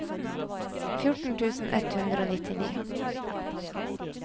fjorten tusen ett hundre og nittini